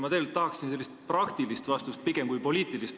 Ma tegelikult tahaksin pigem sellist praktilist vastust kui poliitilist.